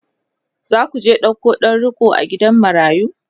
zaku je ɗauko ɗan riƙo a gidan marayu?